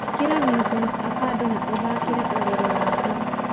ĩkĩra vincent afande na ũthaakĩre ũrĩrĩ wakwa